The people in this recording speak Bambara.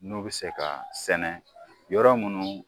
N'o bɛ se ka sɛnɛ yɔrɔ minnu